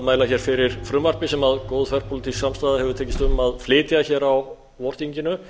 mæla fyrir frumvarpi sem góð þverpólitísk samstaða hefur tekist um að flytja á vorþinginu